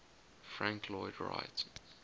frank lloyd wright